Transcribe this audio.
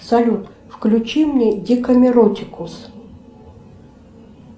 салют включи мне декамеротикус